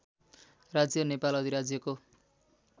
राज्य नेपाल अधिराज्यको